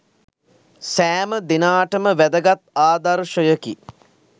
සෑම දෙනාටම වැදගත් ආදර්ශයකි.